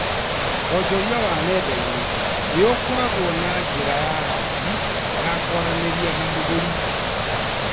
Wonjoria wa nenda-inĩ nĩũkoragwo na njĩra ya raithi ya kwaranĩria na mũgũri